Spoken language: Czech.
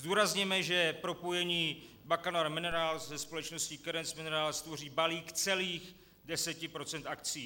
Zdůrazněme, že propojení Bacanora Minerals se společností Cadence Minerals tvoří balík celých 10 % akcií.